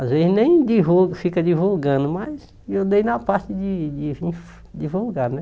Às vezes nem divulga, fica divulgando, mas eu dei na parte de de vir divulgar, né?